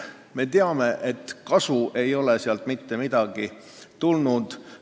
Me teame, et kasu ei ole sealt mitte mingit tulnud.